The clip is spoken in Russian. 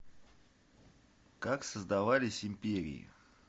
как создавались империи